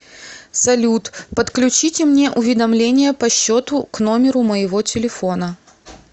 салют подключите мне уведомления по счету к номеру моего телефона